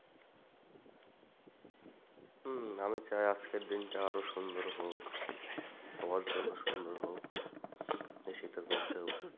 হম আমি চাই আজকের দিনটা আরো সুন্দর হোক সবার জন্য সুন্দর হোক এই শীতের মধ্যেও।